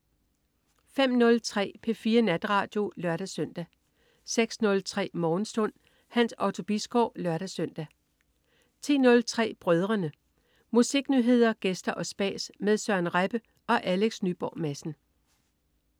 05.03 P4 Natradio (lør-søn) 06.03 Morgenstund. Hans Otto Bisgaard (lør-søn) 10.03 Brødrene. Musiknyheder, gæster og spas med Søren Rebbe og Alex Nyborg Madsen